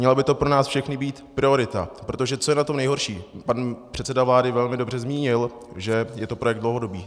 Měla by to pro nás všechny být priorita, protože co je na tom nejhorší, pan předseda vlády velmi dobře zmínil, že je to projekt dlouhodobý.